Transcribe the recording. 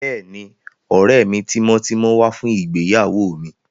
Bẹ́ẹ̀ni, ọ̀rẹ́ mi tímọ́tímọ́ wá fún ìgbéyàwó mi